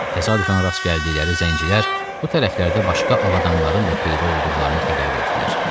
Təsadüfən rast gəldikləri zəncilər bu tərəflərdə başqa ağ adamlara da peyda olduqlarını xəbər verdilər.